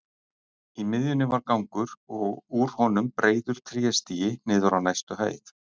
Í miðjunni var gangur og úr honum breiður tréstigi niður á næstu hæð.